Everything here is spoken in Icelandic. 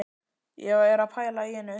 Ég er að pæla í einu.